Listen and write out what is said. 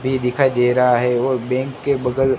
ये दिखाई दे रहा है वो बैंक के बगल--